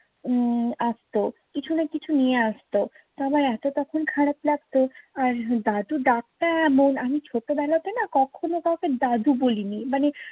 উম আসতো কিছু না কিছু নিয়ে আসতো, আমার এতো তখন খারাপ লাগতো। আর দাদু ডাকটা এমন আমি ছোটবেলাতে না কখনো কাউকে দাদু বলিনি। মানে